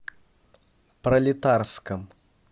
пролетарском